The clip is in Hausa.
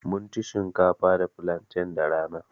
Mun ci shinkafa da flantain da rana.